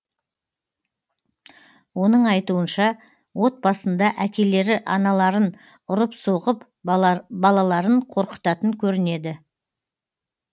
оның айтуынша отбасында әкелері аналарын ұрып соғып балаларын қорқытатын көрінеді